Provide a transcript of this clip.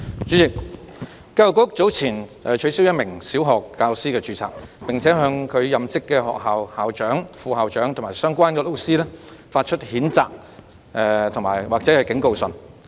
主席，教育局早前取消一名小學教師的註冊，並向其任職學校的校長、副校長及相關教師發出譴責信或警告信。